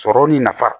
Sɔrɔ ni nafa